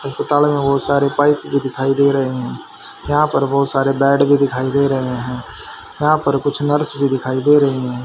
अस्पताल में वो सारे पाइप जो दिखाई दे रहे हैं यहां पर बहोत सारे बेड भी दिखाई दे रहे हैं यहां पर कुछ नर्स भी दिखाई दे रही हैं।